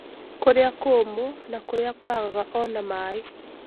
Kũrĩa kũũmũ na kũrĩa kwagaga ona maaĩ.